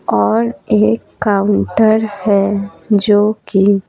और एक काउंटर है जो कि--